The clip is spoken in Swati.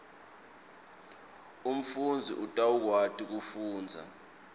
umfundzi utawukwati kufundza